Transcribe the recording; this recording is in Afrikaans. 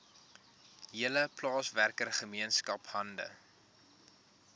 hele plaaswerkergemeenskap hande